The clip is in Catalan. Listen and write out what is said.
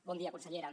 bon dia consellera